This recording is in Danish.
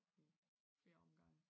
I flere omgange